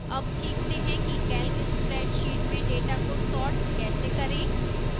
अब सीखते हैं कि calc spreadsheet में data को sort कैसे करें